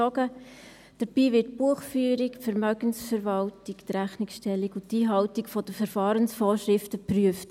Dabei werden die Buchführung, die Vermögensverwaltung, die Rechnungsstellung und die Einhaltung der Verfahrensvorschriften geprüft.